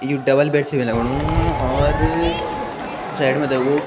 यु double bed छी लगणु और साइड मा ते वो --